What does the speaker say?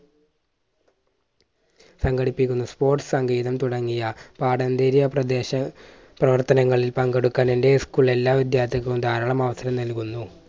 സംഘടിപ്പിക്കുന്നു. sports സംഗീതം തുടങ്ങിയ പാഠ്യാന്തര പ്രദേശ പ്രവർത്തനങ്ങളിൽ പങ്കെടുക്കുവാൻ എൻറെ school എല്ലാ വിദ്യാർത്ഥികൾക്കും ധാരാളം അവസരം നൽകുന്നു.